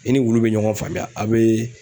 I ni wulu bɛ ɲɔgɔn faamuya a' bɛ